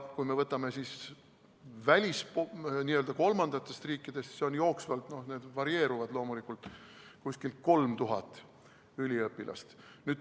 Kui me vaatame kolmandaid riike, siis sealt on jooksvalt umbes 3000 üliõpilast.